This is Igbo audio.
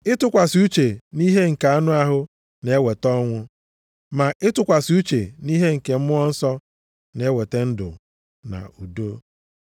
Ịtụkwasị uche nʼihe nke anụ ahụ na-eweta ọnwụ. Ma ịtụkwasị uche nʼihe nke Mmụọ Nsọ na-eweta ndụ na udo.